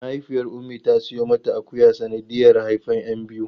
Mahaifiyar Ummi ta siyo mata akuya sanadiyar haifan 'yan biyu.